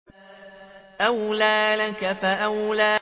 أَوْلَىٰ لَكَ فَأَوْلَىٰ